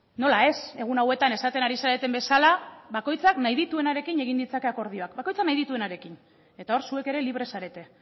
nola ez egun hauetan esaten ari zareten bezala bakoitzak nahi dituenarekin egin ditzake akordioak bakoitzak nahi dituenarekin eta hor zuek ere libre zarete